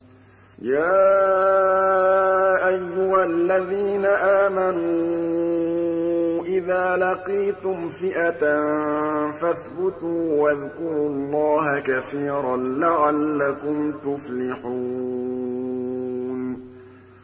يَا أَيُّهَا الَّذِينَ آمَنُوا إِذَا لَقِيتُمْ فِئَةً فَاثْبُتُوا وَاذْكُرُوا اللَّهَ كَثِيرًا لَّعَلَّكُمْ تُفْلِحُونَ